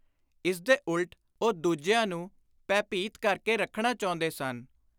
ਇਸਦੇ ਉਲਟ ਉਹ ਦੁਜਿਆਂ ਨੂੰ ਭੈ-ਭੀਤ ਕਰ ਕੇ ਰੱਖਣਾ ਚਾਹੁੰਦੇ ਸਨ।